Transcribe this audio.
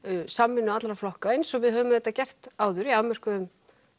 samvinnu allra flokka eins og við höfum auðvitað gert áður í afmörkuðum